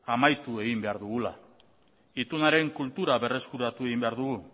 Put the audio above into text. amaitu egin behar dugula itunaren kultura berreskuratu egin behar dugu